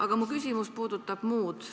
Aga mu küsimus puudutab muud.